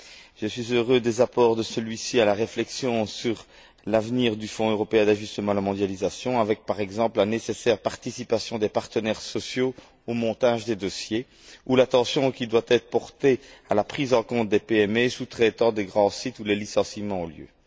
Je me félicite des apports de celui ci à la réflexion sur l'avenir du Fonds européen d'ajustement à la mondialisation avec, par exemple, la nécessaire participation des partenaires sociaux au montage des dossiers ou l'attention qui doit être portée à la prise en compte des PME sous traitantes des grands sites où les licenciements ont lieu.